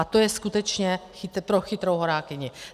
A to je skutečně pro chytrou horákyni.